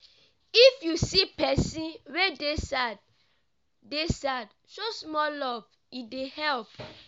if you see pesin wey dey sad dey sad show small love e dey help.